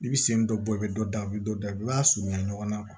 I bi sen dɔ bɔ i be dɔ da i be dɔ da i b'a surunya ɲɔgɔnna